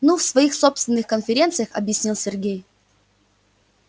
ну в своих собственных конференциях объяснил сергей